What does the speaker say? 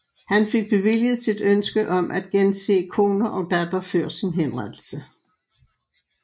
Han fik bevilget sit ønske om at gense kone og datter før sin henrettelse